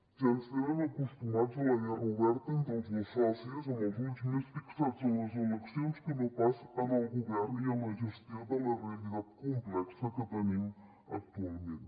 ja ens tenen acostumats a la guerra oberta entre els dos socis amb els ulls més fixats en les eleccions que no pas en el govern i en la gestió de la realitat complexa que tenim actualment